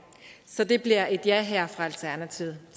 så det bliver et ja her fra alternativet